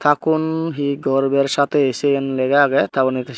takun he gorbor saathe sen lega agey ta porey un.